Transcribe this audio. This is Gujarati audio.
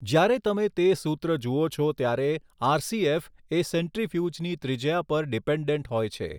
જ્યારે તમે તે સૂત્ર જુઓ છો ત્યારે આરસીએફ એ સેન્ટ્રીફ઼યુજની ત્રિજ્યા પર ડીપેન્ડન્ટ હોય છે.